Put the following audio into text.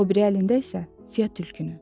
O biri əlində isə Fiya tülkünü.